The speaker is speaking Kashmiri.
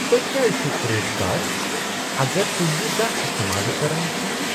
تۄہہ کیٛاز چھٗو کریڈٹ کارڈ اگر توہہِ یہِ زانٛہہ استعمالٕیہ کران چھِوٕ نہٕ ؟